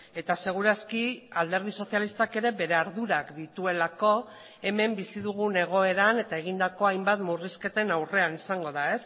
eta seguraski alderdi sozialistak ere bere ardurak dituelako hemen bizi dugun egoeran eta egindako hainbat murrizketen aurrean izango da